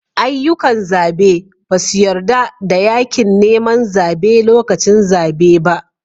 Ayyukan zabe ba su yarda da yakin neman zabe lokacin zabe ba